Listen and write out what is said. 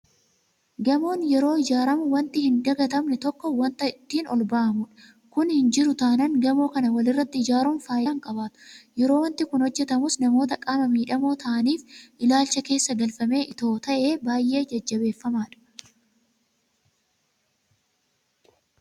Gamoon yeroo ijaaramu waanti hindagatamne tokko waanta ittiin olba'amudha. Kun hin jiru taanaan gamoo kana walirratti ijaaruun faayidaa hin qabaatu. Yeroo waanti kun hojjetamus namoota qaama miidhamoo ta'aniif ilaalcha keessa galfamee itoo ta'ee baay'ee jajjabeeffamaadha.